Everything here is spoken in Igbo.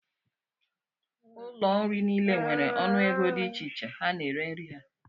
Ụlọ nri niile nwere ọnụego dị iche iche ha na-ere nri ha.